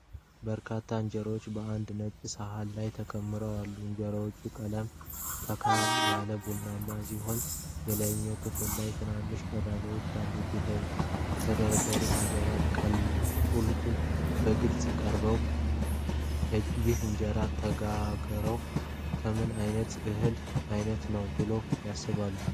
በርካታ እንጀራዎች በአንድ ነጭ ሰሀን ላይ ተከምረው አሉ። የእንጀራዎቹ ቀለም ፈካ ያለ ቡናማ ሲሆን፣ የላይኛው ክፍል ላይ ትንንሽ ቀዳዳዎች አሉት። የተደረደሩት እንጀራዎች ቁልል በግልጽ በቅርበት ቀርቧል። ይህ እንጀራ የተጋገረው ከምን ዓይነት የእህል ዓይነት ነው ብለው ያስባሉ?